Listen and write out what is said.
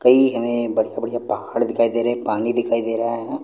कई हमें बढ़िया बढ़िया पहाड़ दिखाई दे रहे है पानी दिखाई दे रहा है।